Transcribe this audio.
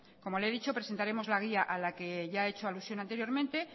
como le he dicho presentaremos la guía a la que he hecho alusión anteriormente